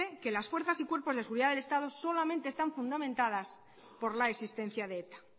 que las fuerzas y cuerpos de seguridad del estado solamente están fundamentadas por la existencia de eta